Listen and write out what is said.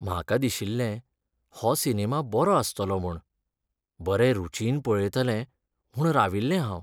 म्हाका दिशिल्लें हो सिनेमा बरो आसतलो म्हूण. बरें रूचीन पळयतलें म्हूण राविल्लें हांव.